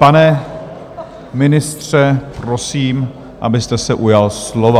Pane ministře, prosím, abyste se ujal slova.